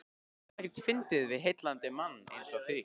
Það er ekkert fyndið við heillandi mann einsog þig.